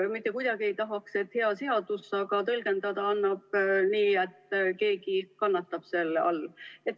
Mitte kuidagi ei tahaks, et mõtte poolest on hea seadus, aga tõlgendada annab nii, et keegi kannatab selle all.